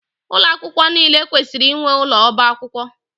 Ụlọ akwụkwọ niile kwesịrị inwe ụlọ ọba akwụkwọ.